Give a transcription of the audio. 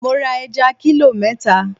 Mo ra ẹja kílò mẹ́ta.